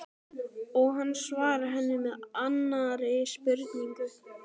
Og hann svarar henni með annarri spurningu